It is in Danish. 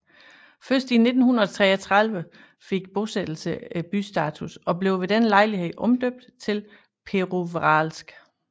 Først i 1933 fik bosættelse bystatus og blev ved denne lejlighed omdøbt til Pervouralsk